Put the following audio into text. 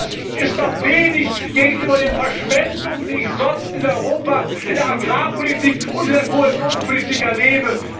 Ach, das ist doch wenig gegenüber der Verschwendung, die ich sonst in Europa in der Agrarpolitik und Kohäsionspolitik erlebe!